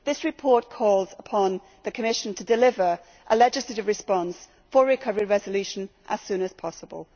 This report calls upon the Commission to deliver a legislative response for recovery resolution as soon as possible.